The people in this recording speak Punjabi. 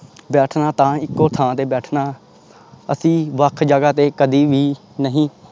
ਬੈਠਣਾ ਤਾਂ ਇੱਕੋ ਥਾਂ ਤੇ ਬੈਠਣਾ ਅਸੀਂ ਵੱਖ ਜਗ੍ਹਾ ਤੇ ਕਦੇ ਵੀ ਨਹੀਂ,